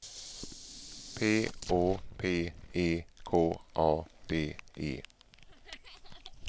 P Å P E K A D E